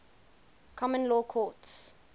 common law courts